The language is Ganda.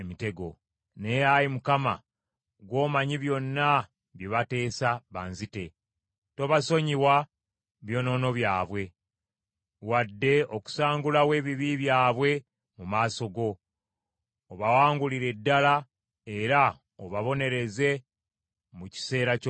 Naye Ayi Mukama , gw’omanyi byonna, bye bateesa banzite. Tobasonyiwa byonoono byabwe wadde okusangulawo ebibi byabwe mu maaso go. Obawangulire ddala, era obabonereze mu kiseera ky’obusungu bwo.